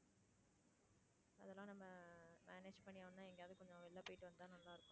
அதெல்லாம் நம்ப manage பண்ணி ஆகணும்னா எங்கேயாவது கொஞ்சம் வெளியில போயிட்டு வந்தா நல்லா இருக்கும்.